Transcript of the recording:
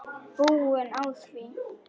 Búin á því.